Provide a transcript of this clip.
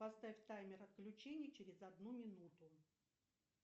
поставь таймер отключения через одну минуту